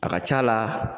A ka c'a la